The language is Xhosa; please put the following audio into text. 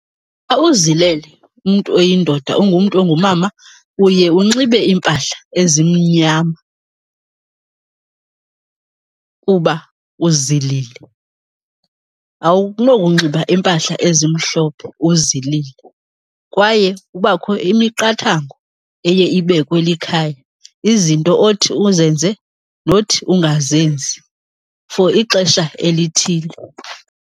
Xa uzilele umntu oyindoda ungumntu ongumama uye unxibe iimpahla ezimnyama kuba uzilile, awunokunxiba iimpahla ezimhlophe uzilile. Kwaye kubakho imiqathango eye ibekwe likhaya, izinto othi uzenze nothi ungazenzi for ixesha elithile.